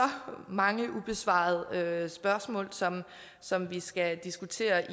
mange ubesvarede spørgsmål som som vi skal diskutere